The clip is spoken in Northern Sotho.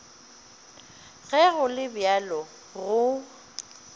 ge go le bjalo go